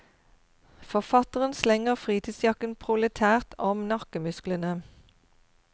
Forfatteren slenger fritidsjakken proletært om nakkemusklene.